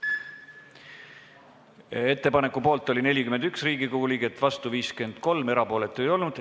Hääletustulemused Ettepaneku poolt oli 41 Riigikogu liiget, vastu oli 53, erapooletuid ei olnud.